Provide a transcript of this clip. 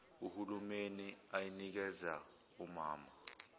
uhulumeni ayinikeza omama